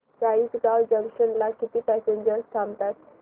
Chalisgaon junction ला किती passengers थांबतात